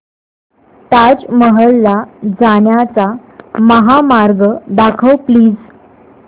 ताज महल ला जाण्याचा महामार्ग दाखव प्लीज